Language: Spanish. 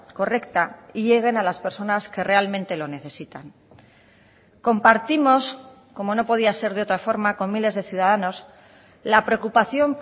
correcta y lleguen a las personas que realmente lo necesitan compartimos como no podía ser de otra forma con miles de ciudadanos la preocupación